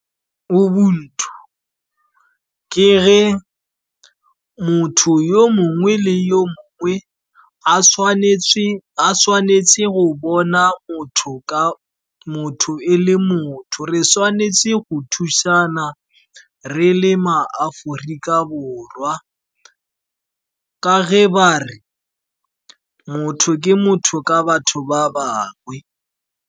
Ubuntu ke ge motho yo mongwe le yo mongwe, a tshwanetse go bona motho e le motho. Re tshwanetse go thusana re le maAforika Borwa, ka ge ba re motho ke motho ka batho ba bangwe.